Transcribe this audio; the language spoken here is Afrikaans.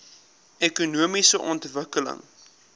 ekonomiese ontwikkeling